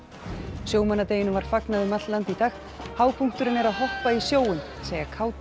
sjómannadeginum var fagnað um allt land í dag hápunkturinn er að hoppa í sjóinn segja kátir